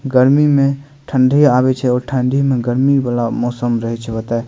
गर्मी में ठंडी आबे छै और ठंडी मे गर्मी वाला मौसम रहय छै ओते ।